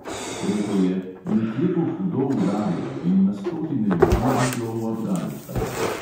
Rekel je: "nekje bo hudo udarilo in na stotine ljudi bo šlo v afganistan."